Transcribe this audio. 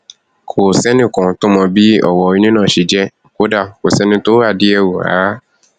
kò sẹnì kan tó mọ bí ọrọ ilé náà ṣe jẹ kódà kò sẹni tó wádìí ẹ wò rárá